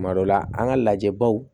Kuma dɔ la an ka lajɛ baw